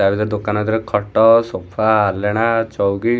ତା ଭିତରେ ଦୋକାନ ଭିତରେ ଖଟ ସୋଫା ଆଲଣା ଚୌକି --